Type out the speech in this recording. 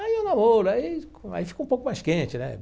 Aí o namoro, aí com aí fica um pouco mais quente, né?